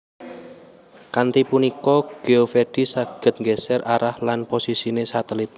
Kanthi punika Geovedi saged nggeser arah lan posisine satelit